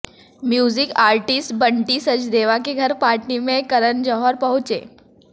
music artist Bunty Sachdeva के घर party में करण जौहर पहुंचे